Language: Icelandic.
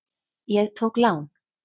Ég tók lán.